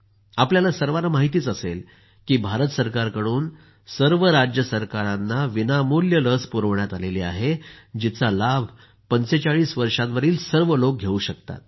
आपल्याला सर्वांना माहितच असेल की भारत सरकारकडून सर्व राज्यसरकारांना विनामूल्य लस पुरवण्यात आली आहे जिचा लाभ 45 वर्षांवरील सर्व लोक घेऊ शकतात